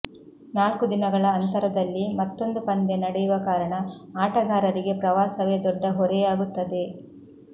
ನಾಲ್ಕು ದಿನಗಳ ಅಂತರದಲ್ಲಿ ಮತ್ತೊಂದು ಪಂದ್ಯ ನಡೆಯುವ ಕಾರಣ ಆಟಗಾರರಿಗೆ ಪ್ರವಾಸವೇ ದೊಡ್ಡ ಹೊರೆಯಾಗುತ್ತದೆ